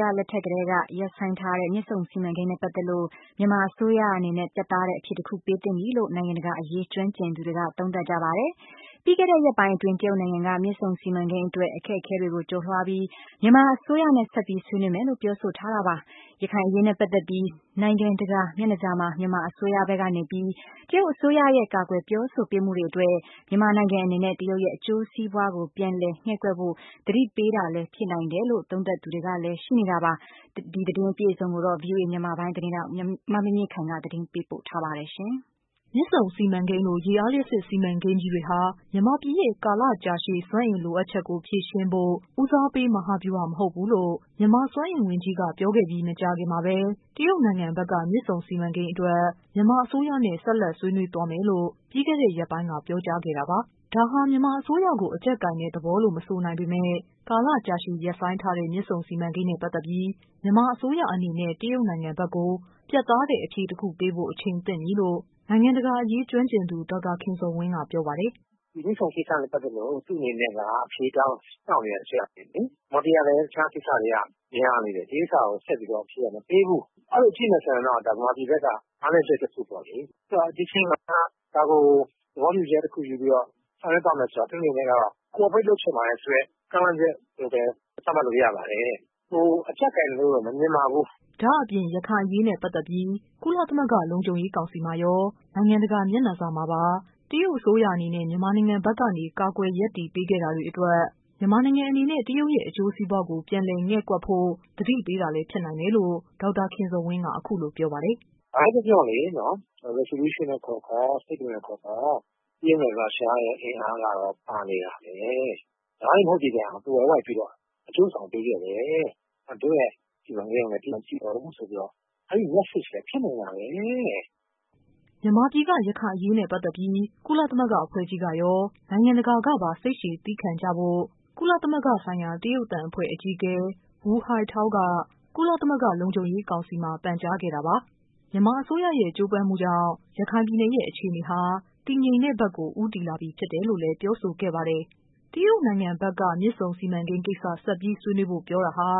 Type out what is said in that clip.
ရလက်ထက်ကတည်းက ရပ်ဆိုင်းထားတဲ့ မြစ်ဆုံစီမံကိန်းနဲ့ ပတ်သက်လို့ မြန်မာ အစိုးရအနေနဲ့ ပြတ်သားတဲ့ အဖြေတခု ပေးသင့်ပြီလို့ နိုင်ငံတကာအရေး ကျွမ်းကျင်သူတွေက သုံးသပ် ကြပါတယ်။ ပြီးခဲ့တဲ့ ရက်ပိုင်းအတွင်း တရုတ်နိုင်ငံက မြစ်ဆုံစီမံကိန်းအတွက် အခက်အခဲတွေကို ကျော် လွှားပြီး မြန်မာအစိုးရနဲ့ဆက်ပြီး ဆွေးနွေးမယ်လို့ ပြောဆိုထားတာပါ။ ရခိုင်အရေးနဲ့ ပတ်သက်ပြီး နိုင်ငံ တကာ မျက်နှာစာမှာ မြန်မာအစိုးရဘက်ကနေပြီး တရုတ်အစိုးရရဲ့ ကာကွယ်ပြောဆိုပေးမှုတွေအတွက် မြန်မာနိုင်ငံအနေနဲ့ တရုတ်ရဲ့ အကျိုးစီးပွားကို ပြန်လည် ငဲ့ကွက်ဖို့ သတိပေးတာလည်းဖြစ်နိုင်တယ်လို့ သုံးသပ်သူတွေလည်း ရှိနေတာပါ။ သတင်းအပြည့်အစုံကိုတော့ ဗွီအိုအေ မြန်မာပိုင်း သတင်းထောက် မမြင့်မြင့်ခိုင်ကတင်ပြပေးပါမယ်။ မြစ်ဆုံစီမံကိန်းလို ရေအားလျှပ်စစ်စီမံကိန်းကြီးတွေဟာ မြန်မာပြည်ရဲ့ ကာလရှည်ကြာ စွမ်းအင်လိုအပ်မှု ကိုဖြေရှင်းဖို့ ဦစားပေး မဟာဗျူဟာမဟုတ်ဘူးလို့ မြန်မာစွမ်းအင် ဝန်ကြီးက ပြောခဲ့ပြီးပြီး မကြာခင်မှာပဲ တရုတ်နိုင်ငံဘက်က မြစ် ဆုံ စီမံကိန်းအတွက် မြန်မာအစိုးရနဲ့ ဆက်လက် ဆွေးနွေးသွားမယ်လို့ ပြီးခဲ့တဲ့ ရက်ပိုင်းက ပြောကြား ထားတာပါ။ ဒါဟာ မြန်မာအစိုးရကို အကျပ်ကိုင်တဲ့ သဘောလို့တော့ မဆိုနိုင်ပေမဲ့ ကာလကြာရှည် ရပ်ဆိုင်းထားတဲ့ မြစ်ဆုံစီမံကိန်းနဲ့ ပတ်သက်ပြီး မြန်မာအစိုးရအနေနဲ့ တရုတ်နိုင်ငံဘက်ကို ပြတ်သားတဲ့ အဖြေတခု ပေး ဖို့ အချိန်သင့်ပြီလို့ နိုင်ငံတကာအရေး ကျွမ်းကျင်သူ ဒေါက်တာခင်ဇော်ဝင်းက ပြောပါတယ်။ "ဒီမြစ်ဆုံနဲ့ပတ်သက်လို့ သူ့အနေနဲ့က အဖြေစောင့်နေတာကြာပြီလေ။ မြန်မာပြည် ကလည်း တခြားကိစ္စတွေက များနေတယ်လေ။ ဒီကိစ္စကို မြန်မာပြည်ကလည်း အဖြေက ဆက်ပြီးတော့ မပေးဘူး အဲ့လိုအဖြစ်မခံတော့ ဒါ မြန်မာပြည်ဘက်က အားနည်းချက် တခုပေါ့လေ ဆိုတော့ ဒီအချိန်မှာ ဒါကို သဘောတူညီချက်တခုယူပြီးတော့ ဆောင်ရွက် ပါမယ်ဆိုတဲ့ Cooperate လုပ်ချင်ပါတယ်ဆိုတဲ့ ကမ်းလှမ်းချက်လို့ပဲ သတ်မှတ်လို့ရပါတယ်။ ကျနော့်အနေနဲ့တော့ အကျပ်ကိုင်တယ်လို့တော့ မမြင်ပါဘူး။ " ဒါ့အပြင် ရခိုင်အရေးနဲ့ ပတ်သက်ပြီး ကုလသမဂ္ဂ လုံခြုံရေး ကောင်စီမှာရော၊ နိုင်ငံတကာ မျက်နှာစာမှာ ပါ တရုတ်အစိုးရအနေနဲ့ မြန်မာနိုင်ငံဘက်ကနေ ကာကွယ် ရပ်တည်ပေးခဲ့ တာတွေအတွက် မြန်မာနိုင်ငံအနေနဲ့ တရုတ်ရဲ့ အကျိုးစီးပွားကို ပြန်လည်ငဲ့ကွက်ဖို့ သတိပေးတာလည်း ဖြစ်နိုင်တယ်လို့ ဒေါက်တာ ခင်ဇော်ဝင်းက အခုလိုပြောပါတယ်။ " ဘာပဲပြောပြောလေ Resolution ပဲခေါ်ခေါ် တရုတ်နဲ့ ရုရှားရဲ့ အင်အားက ပါနေတာပဲ တိုက်ရိုက်မဟုတ်သည့်တိုင်အောင် သွယ်ဝိုက်ပြီးတော့ အကျိုးဆောင်ပေးခဲ့တယ် ဆိုတဲ့ အဲ့ဒီ့မတ်ဆေ့လည်းဖြစ်နိုင်တာပဲ။" မြန်မာပြည်က ရခိုင်ပြည်နယ်အရေးနဲ့ ပတ်သက်ပြီး ကုလသမဂ္ဂ အဖွဲ့ကြီးကရော၊ နိုင်ငံတကာကပါ စိတ် ရှည်သည်းခံကြဖို့ ကုလသမဂ္ဂဆိုင်ရာ တရုတ်သံအဖွဲ့အကြီးအကဲ Wu Haitao က ကုလသမဂ္ဂ လုံခြုံရေး ကောင်စီမှာ ပန်ကြားခဲ့တာပါ မြန်မာအစိုးရရဲ့ ကြိုးပမ်းမှုကြောင့် ရခိုင်ပြည်နယ်ရဲ့ အခြေအနေဟာ တည်ငြိမ်တဲ့ဘက်ကို ဦးတည်လာပြီဖြစ်တယ်လို့လည်း ပြောဆိုခဲ့ပါတယ်။ တရုတ်နိုင်ငံဘက်က မြစ်ဆုံစီမံကိန်းကိစ္စဆက် ဆွေးနွေးဖို့ ပြောတာဟာ